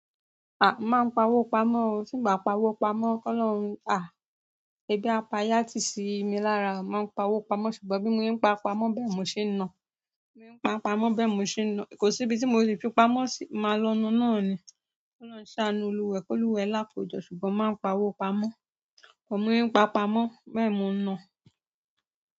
Àh, mo máa ń pawó pamọ́, timba pa owó pamọ́. Kolọ́run, ah, ẹbí a pa yatì sími lára mo máa ń pa owó pamọ́ ṣùgbọ́n bí mo se ń pa pamọ́ bẹ́ẹ̀ mo ṣe ń na. Bí mo se ń pa pamọ́ bẹ́ẹ̀ mo ṣe ń na. Kò síbi tí mo le fi pamọ́ ṣi máa lo nà náà ni. Kolọ́run ṣàánú olùwa e kolùwaẹ́ lákojọ ṣùgbọ́n máa ń pa owó pamọ́. But bi mo se n pa pamọ́ bẹ́ẹ̀ mo n na.